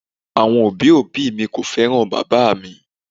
Awọn obi obi mi ko fẹran baba mi.